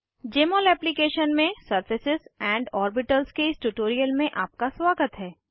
जमोल application में surface and orbitals के इस ट्यूटोरियल में आपका स्वागत है